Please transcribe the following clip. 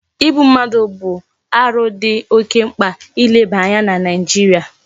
Igbu mmadu bu aru di oke mkpa ileba anya na naijiria